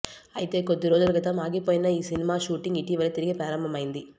అయితే కొద్ది రోజుల క్రితం ఆగిపోయిన ఈసినిమా షూటింగ్ ఇటివలే తిరిగి ప్రారంభమైంది